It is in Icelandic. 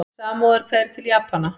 Samúðarkveðjur til Japana